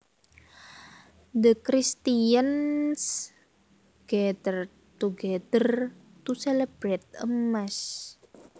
The Christians gathered together to celebrate a mass